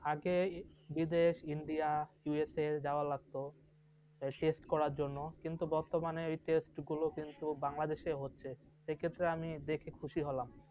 আগে বিদেশ, India, USA যাওয়া লাগত test করার জন্য, বর্তমানে সেই test গুলো কিন্তু বাংলাদেশেই হচ্ছে, সেক্ষেত্রে আমি দেখে খুশি হলাম ।